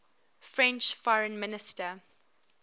french foreign minister